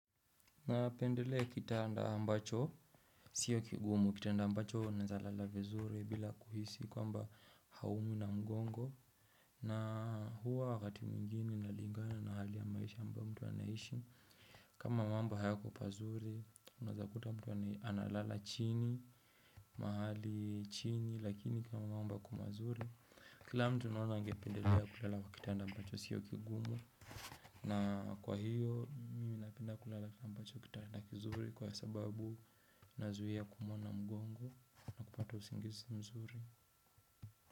Napendelea kitanda ambacho, siyo kigumu, kitanda ambacho naezalala vizuri bila kuhisi kwamba haumwi na mgongo. Na huwa wakati mwingine na lingana na hali ya maisha ambayo mtu anahishi. Kama mambo hayakopazuri, unaezakuta mtu analala chini, mahali chini, lakini kama mambo yako mazuri. Kila mtu naona angependelea kulala kwa kitanda ambacho sio kigumu. Na kwa hiyo, mimi napenda kulala kwenye kitanda kizuri, kwa sababu nazuia kuumwa na mgongo na napato usingizi mzuri.